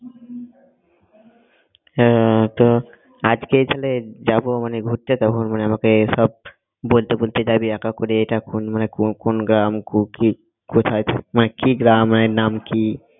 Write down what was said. হ্যাঁ তো আজকে এখানে যাব মানে ঘুরতে তখন মানে আমাকে সব বলতে বলতে যাবি এক এক করে এটা কোন মানে কো~ কোন গ্রাম মানে কু কি কোথায় থাকে মানে কি গ্রাম মানে নাম কি